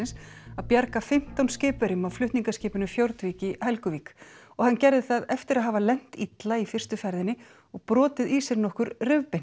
að bjarga fimmtán skipverjum af flutningaskipinu Fjordvik í Helguvík og hann gerði það eftir að hafa lent illa í fyrstu ferðinni og brotið í sér nokkur rif